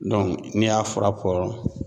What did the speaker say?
ni y'a fura bɔ